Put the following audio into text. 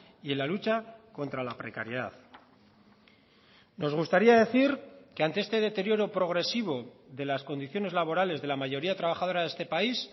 y en la lucha contra la precariedad nos gustaría decir que ante este deterioro progresivo de las condiciones laborales de la mayoría trabajadora de este país